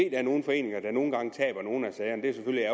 er nogle foreninger der nogle gange taber nogle af sagerne